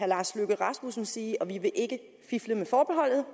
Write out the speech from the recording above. lars løkke rasmussen sige vi vil ikke fifle med forbeholdet